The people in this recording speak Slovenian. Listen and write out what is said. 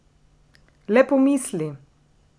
Le pomisli!